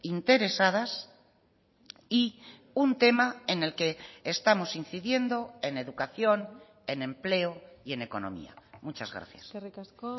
interesadas y un tema en el que estamos incidiendo en educación en empleo y en economía muchas gracias eskerrik asko